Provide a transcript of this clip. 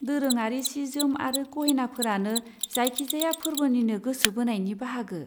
दोरोङारि सि जोम आरो गहेनाफोरानो जायखिजाया फोर्बोनिनो गोसो बोनायनि बाहागो।